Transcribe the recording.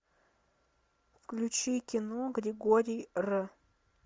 включи кино григорий р